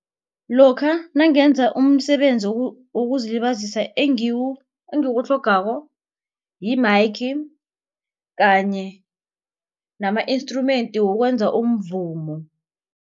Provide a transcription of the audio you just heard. Lokha nangenza umsebenzi wokuzilibazisa engikutlhogako yi-mike kanye nama-instrument wokwenza umvumo.